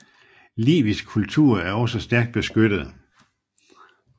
Livisk kultur er også stærkt beskyttet